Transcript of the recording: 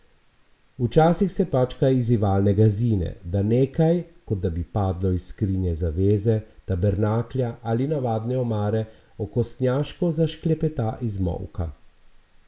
Včasih se pač kaj izzivalnega zine, da nekaj, kot da bi padlo iz skrinje zaveze, tabernaklja ali navadne omare, okostnjaško zašklepeta iz molka.